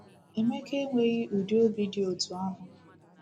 Emeka enweghi udi obi dị otú ahụ.